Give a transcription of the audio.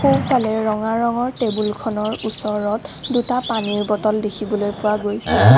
সোঁফালে ৰঙা ৰঙৰ টেবুলখনৰ ওচৰত দুটা পানীৰ বটল দেখিবলৈ পোৱা গৈছে।